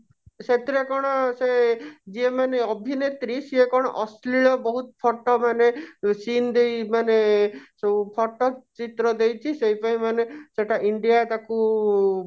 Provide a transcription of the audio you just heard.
ସେଥିରେ କଣ ସେ ଯିଏ ମାନେ ଅଭିନେତ୍ରୀ ସିଏ କଣ ଅଶ୍ଳୀଳ ବହୁତ photo ମାନେ scene ଦେଇ ମାନେ ଯଉ photo ଚିତ୍ର ଦେଇଛି ସେଇ ପାଇଁ ମାନେ ସେଟା india ତାକୁ